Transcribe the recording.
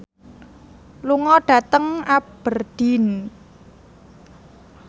lunga dhateng Aberdeen